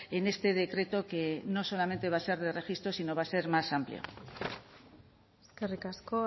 en este decreto que no solamente va a ser de registro sino va a ser más amplio eskerrik asko